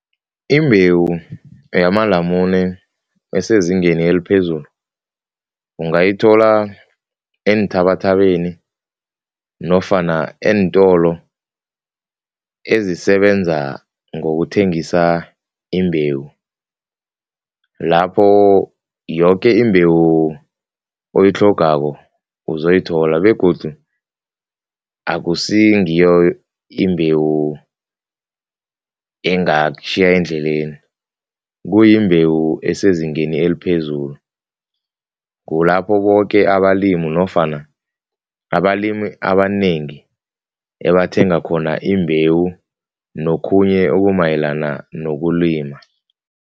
Imbewu yimamalamune esezingeni eliphezulu, ungayithola eenthabathabeni nofana eentolo ezisebenza ngokuthengisa imbewu, lapho yoke imbewu oyitlhogako uzoyithola begodu akusingiyo imbewu engakutjhiya endleleni, kuyimbewu esezingeni eliphezulu. Kulapho boke abalimi nofana abalimi abanengi ebathenga khona imbewu nokhunye okumayelana nokulima.